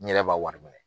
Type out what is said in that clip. N yɛrɛ b'a wari minɛ